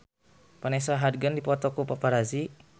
Vanessa Hudgens dipoto ku paparazi